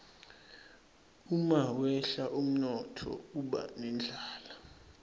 umawehla umnotfo kuba nendlala